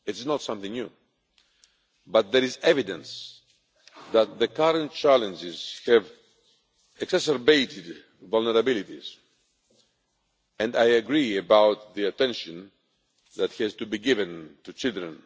It is not something new. But there is evidence that the current challenges have exacerbated vulnerabilities and I agree about the attention that has to be given to children.